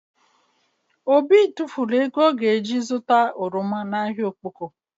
Obi tufulu ego ọ ga ji zụta oroma na ahịa Okpoko